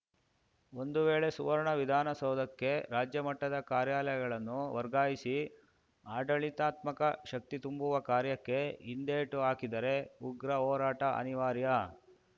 ಒಂದು ವೇಳೆ ಸುವರ್ಣ ವಿಧಾನಸೌಧಕ್ಕೆ ರಾಜ್ಯಮಟ್ಟದ ಕಾರ್ಯಾಲಯಗಳನ್ನು ವರ್ಗಾಯಿಸಿ ಆಡಳಿತಾತ್ಮಕ ಶಕ್ತಿ ತುಂಬುವ ಕಾರ್ಯಕ್ಕೆ ಹಿಂದೇಟು ಹಾಕಿದರೆ ಉಗ್ರ ಹೋರಾಟ ಅನಿವಾರ್ಯ